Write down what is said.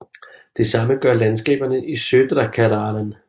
Det samme gør landskaberne Södra Karelen